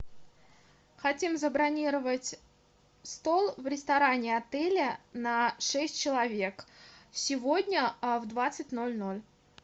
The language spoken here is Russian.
хотим забронировать стол в ресторане отеля на шесть человек сегодня в двадцать ноль ноль